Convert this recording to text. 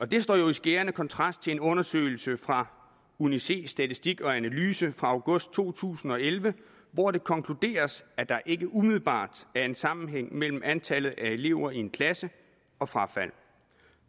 det står jo i skærende kontrast til en undersøgelse fra uni•c statistik analyse fra august to tusind og elleve hvor det konkluderes at der ikke umiddelbart er en sammenhæng mellem antallet af elever i en klasse og frafald